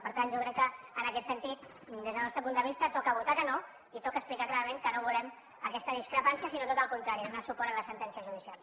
per tant jo crec que en aquest sentit des del nostre punt de vista toca votar que no i toca explicar clarament que no volem aquesta discrepància sinó tot el contrari donar suport a la sentència judicial